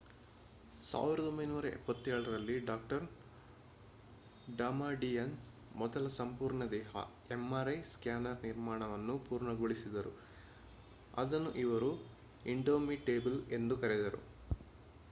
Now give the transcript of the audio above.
1977 ರಲ್ಲಿ ಡಾ ಡಮಾಡಿಯನ್ ಮೊದಲ ಸಂಪೂರ್ಣ-ದೇಹ mri ಸ್ಕ್ಯಾನರ್ ನಿರ್ಮಾಣವನ್ನು ಪೂರ್ಣಗೊಳಿಸಿದರು ಅದನ್ನು ಅವರು indomitable ಎಂದು ಕರೆದರು